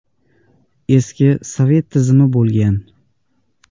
Eski sovet tizimi bo‘lgan.